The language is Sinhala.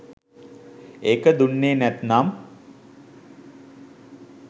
ඒක දුන්නේ නැත්නම්